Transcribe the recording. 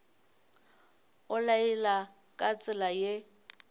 o laela ka tsela ye